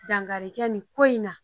Dankari kɛ nin ko in na